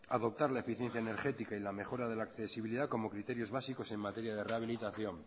adoptar la eficiencia energética y la mejora de la accesibilidad como criterios básicos en materia de rehabilitación